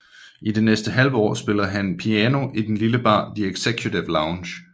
I det næste halve år spillede han piano i den lille bar The Executive Lounge